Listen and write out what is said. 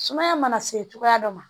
Sumaya mana se cogoya dɔ ma